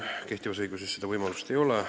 Kehtivas õiguses seda võimalust ei ole.